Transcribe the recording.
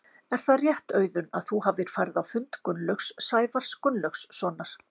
Er það rétt Auðun að þú hafir farið á fund Gunnlaugs Sævars Gunnlaugssonar?